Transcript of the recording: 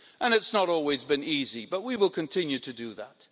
It's not always been easy, but we will continue to do that.